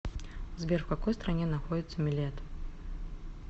сбер в какой стране находится милет